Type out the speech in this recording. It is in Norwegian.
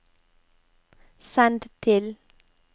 send til